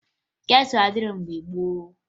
ketụlụ adịghị mgbe gboo